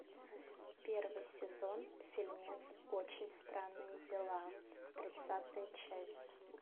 первый сезон фильмец очень странные дела тридцатая часть